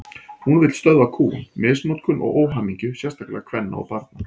Hún vill stöðva kúgun, misnotkun og óhamingju, sérstaklega kvenna og barna.